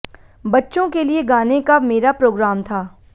बच्चों के लिए गाने का मेरा प्रोग्राम था